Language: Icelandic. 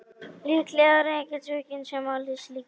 Líklega er enginn svikinn sem á slíka konu.